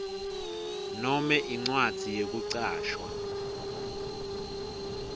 nome incwadzi yekucashwa